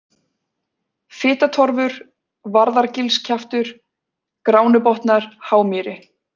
Fitatorfur, Varðargilskjaftur, Gránubotnar, Hámýri